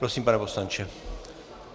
Prosím, pane poslanče.